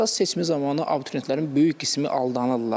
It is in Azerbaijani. İxtisas seçimi zamanı abituriyentlərin böyük qismi aldanırlar.